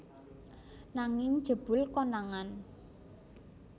Nanging jebul konangan